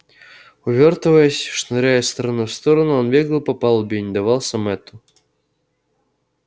увёртываясь шныряя из стороны в сторону он бегал по палубе и не давался мэтту